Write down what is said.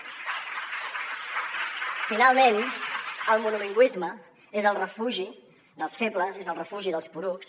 finalment el monolingüisme és el refugi dels febles és el refugi dels porucs